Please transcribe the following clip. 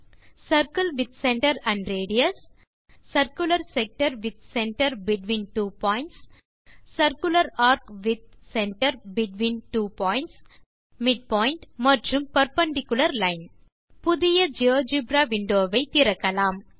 circle with centre and radius circular sector with centre between two points circular A R C with centre between two points midpoint மற்றும் perpendicular line புதிய GeoGebra window வை திறக்கலாம்